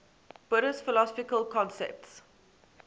buddhist philosophical concepts